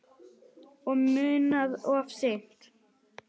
Og munað of seint.